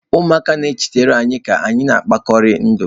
Ụmụaka na-echetara anyị ka anyị na-ekpori ndụ.